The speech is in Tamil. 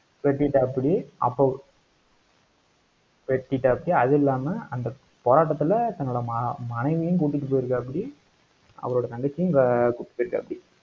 வெட்டிடாப்புடி, அப்போ வெட்டிடாப்புடி அது இல்லாம அந்த போராட்டத்துல தன்னோட ம~ மனைவியையும், கூட்டிட்டு போயிருக்காப்படி. அவரோட தங்கச்சியும், ஆஹ் கூட்டிட்டு போயிருக்காப்படி